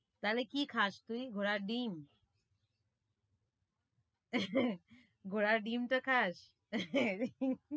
তালে কি খাস তুই ঘোড়ার ডিম ঘোড়ার ডিমটা খাস?